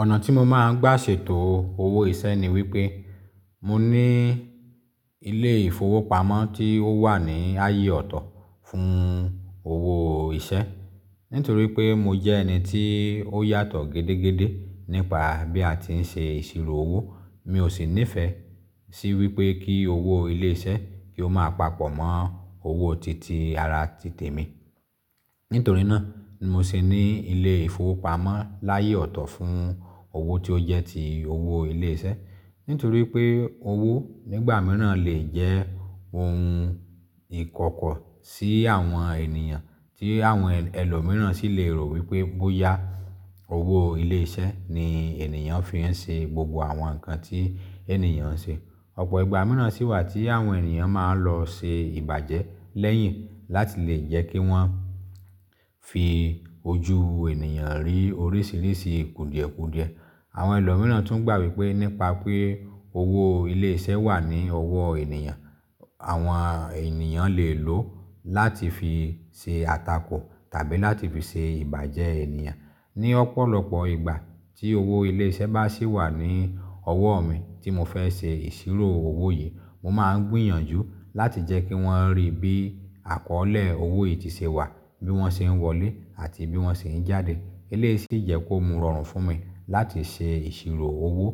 Ọ̀nà tí mo máa ń gbà ṣètò owó iṣẹ́ ni wípé mo ní ilé ìfowópamọ́ tí ó wà ní ààyè ọ̀tọ̀ fún owó iṣẹ́. Nítorí pé mo jẹ́ ẹni tí ó yàtọ̀ gedegede nípa bí a ti ń ṣe ìṣirò owó, mi ò sì nífẹ̀ẹ́ sí wípé kí owó ilé iṣẹ́ kí ó máa papọ̀ mọ́ owó titi ara títè mi. Nítorí náà ni mo sì ní ilé ìfowópamọ́ láyé ọ̀tọ̀ fún owó tí ó jẹ́ ti owó ilé iṣẹ́. Nítorí pé owó nígbà mìíràn lè jẹ́ ohun ìkọ̀kọ̀ sí àwọn ènìyàn tí àwọn ẹlòmíràn sì lè rò wípé bóyá owó ilé iṣẹ́ ni ènìyàn fi ń ṣe gbogbo àwọn nǹkan tí ènìyàn ń ṣe. Ọ̀pọ̀ ìgbà mìíràn sì wà tí àwọn ènìyàn máa ń lọ ṣe ìbàjẹ́ lẹ́yìn láti lè jẹ́ kí wọ́n fi ojú ènìyàn rí oríṣiríṣi kùdìẹ̀kùdìẹ. Àwọn ẹlòmíràn tún gbà wípé nípa pé owó ilé iṣẹ́ wà ní ọwọ́ ènìyàn, àwọn ènìyàn lè lò ó láti fi ṣe àtakò tàbí láti fi ṣe ìbàjẹ́ ènìyàn. Ni ọ̀pọ̀lọpọ̀ ìgbà tí owó ilé iṣẹ́ bá sì wà ní ọwọ́ mi tí mo fẹ́ ṣe ìṣirò owó yìí, mo máa ń gbìyànjú láti jẹ́ kí wọ́n rí bí àkọ́ọ̀lẹ̀ owó yìí tí ṣe wà, bí wọ́n ṣe ń wọlé àti bí wọ́n ṣe ń jáde. Eléyìí sì jẹ́ kó mu rọrùn fún mi láti ṣe ìṣirò owó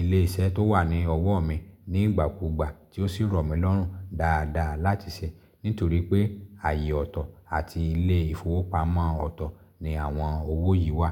ilé iṣẹ́ tó wà ní ọwọ́ mi nígbàkúgbà tí ó sì rọ̀ mí lọ́rùn dáadáa láti ṣe, nítorí pé ààyè ọ̀tọ̀ àti ilé ìfowópamọ́ ọ̀tọ̀ ni àwọn owó yìí wà.